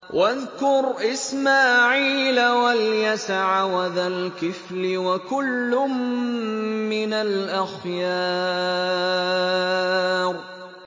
وَاذْكُرْ إِسْمَاعِيلَ وَالْيَسَعَ وَذَا الْكِفْلِ ۖ وَكُلٌّ مِّنَ الْأَخْيَارِ